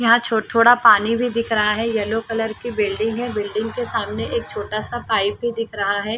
यहाँ छो थोड़ा पानी भी दिख रहा है येलो कलर की बिल्डिंग बिल्डिंग के सामने एक छोटा सा पाइप भी दिख रहा है।